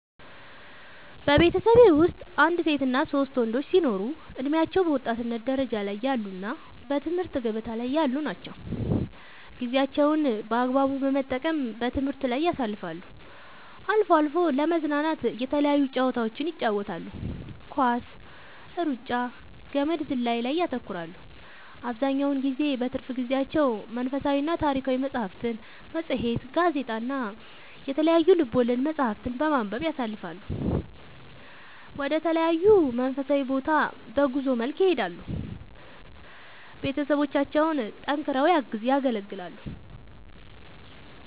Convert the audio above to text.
በቤተሠቤ ወስጥ አንድ ሴትና ሶስት ወንዶች ሲኖሩ እድሜያቸው በወጣትነት ደረጃ ላይ ያሉ እና በትምህርት ገበታ ላይ ያሉ ናቸው ጌዜያቸውን በአግባቡ በመጠቀም በትምህርት ላይ ያሳልፋሉ አልፎ አልፎ ለመዝናናት የተለያዩ ጨዋታዎችን ይጫወታሉ ኳስ ,እሩጫ ,ገመድ ዝላይ ላይ ያተኩራሉ አብዛኛውን ጊዜ በትርፍ ጊዜያቸው መንፈሳዊና ታሪካዊ መፅሐፍትን ,መፅሄት ,ጋዜጣ እና የተለያዩ ልቦለድ መፅሐፍትን በማንበብ ያሣልፈሉ ወደ ተለያዩ መንፈሳዊ ቦታ በጉዞ መልክ ይሄዳሉ ቤተሠቦቻቸውን ጠንክረው ያገለግላሉ